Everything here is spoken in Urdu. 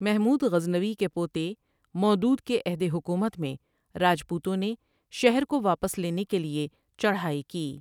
محمود غزنوی کے پوتے مودود کے عہدِ حکومت میں راجپوتوں نے شہر کو واپس لینے کے لیے چڑھائی کی ۔